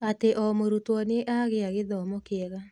atĩ o mũrutwo nĩ agĩa gĩthomo kĩega.